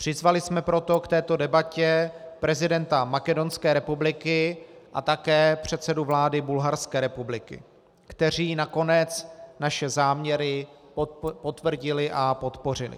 Přizvali jsme proto k této debatě prezidenta Makedonské republiky a také předsedu vlády Bulharské republiky, kteří nakonec naše záměry potvrdili a podpořili.